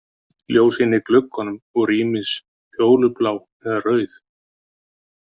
Ljósin í gluggunum voru ýmist fjólublá eða rauð.